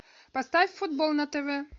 поставь футбол на тв